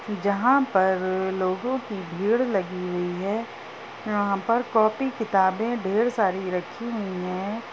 जहाँ पर्र लोगों की भीड़ लगी हुई है। यहाँ पर कॉपी किताबें ढ़ेर सारी रखी हुई हैं।